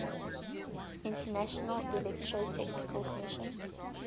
international electrotechnical commission